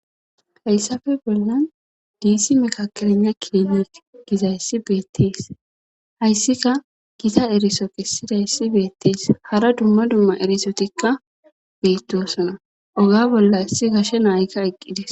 hayssafe bollan diisi mikakirana kiini gizayssi beettees hayssika gita eriso kissidayssi beettees hara dumma dumma erisotikka beyttosona oga bolla issi gashe naayika eqqidis